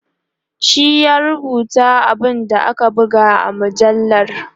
shi ya rubuta abun da aka buga a mujallar